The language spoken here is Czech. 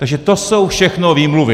Takže to jsou všechno výmluvy.